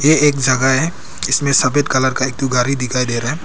ये एक जगह है जिसमें सफेद कलर का एक ठो गाड़ी दिखाई दे रहा है।